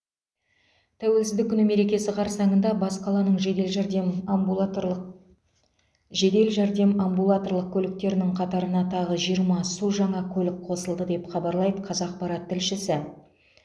тәуелсіздік күні мерекесі қарсаңында бас қаланың жедел жәрдем амбулаторлық жедел жәрдем амбулаторлық көліктерінің қатарына тағы жиырма су жаңа көлік қосылды деп хабарлайды қазақпарат тілшісі